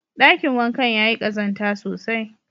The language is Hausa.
Ɗakin wankan yayi ƙazanta sosai.